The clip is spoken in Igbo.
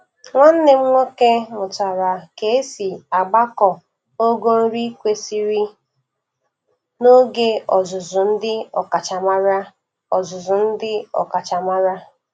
Nwanne m nwoke mụtara ka esi agbakọ ogo nri kwesiri n'oge ọzụzụ ndị ọkachamara. ọzụzụ ndị ọkachamara.